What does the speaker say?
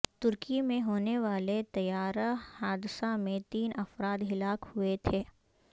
ترکی میں ہونے والے طیارہ حادثہ میں تین افراد ہلاک ہوئے تھے